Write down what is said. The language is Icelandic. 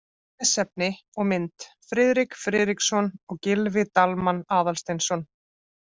Lesefni og mynd: Friðrik Friðriksson og Gylfi Dalmann Aðalsteinsson.